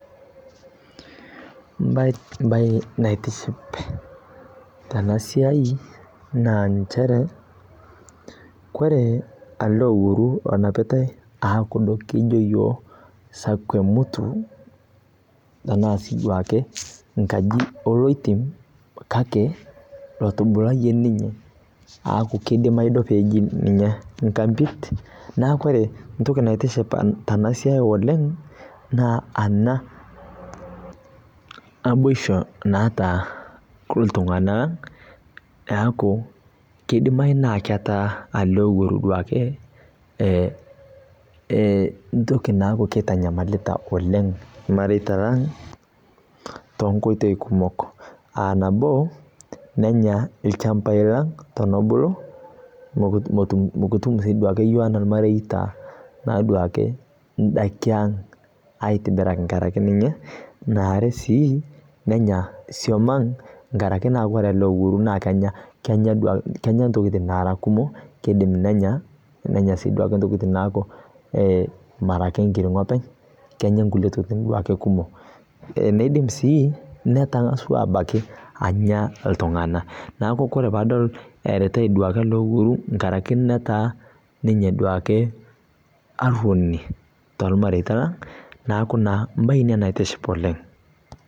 Mbae naitiship tena siai naa nchere kore ele owuaru onapitae aa kuldo kijo iyiok sakwe mutu enaa duake enkaji oloitim kake lotubulayie ninye aaku keidimayu ninye peeji ninye nkambit. Neeku ore entoki naitiship tena siai oleng naa ena naboishu naata iltung'anak, eeku kidimayu naa keeta ele owuaru duake entoki naaku kitanyamalita oleng irmareita lang toonkoitoi kumok, aa nabo nenya ilchambai lang peemebulu, mekitum naaduo siiyiok enaa irmareita naaduo ake indaiki ang aitibiraki nkaraki ninye, naare sii nenya iswam ang' nkaraki naa kore duake ele owuaru kenya intokiting naara kumok. Kiidim nenya, nenya siiduo ake intokiting naaku ake enkirng'o ake, kenya inkulie tokiting duake kumok. Nidim netaaswa abaiki iltung'anak neeku ore paadol eeretai duake ele owuaru inkaraki netaa ninye duake arrwoni tormareita neeku naa embae ina naitiship oleng